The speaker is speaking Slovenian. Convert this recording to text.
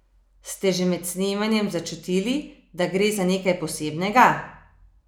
Ste že med snemanjem začutili, da gre za nekaj posebnega?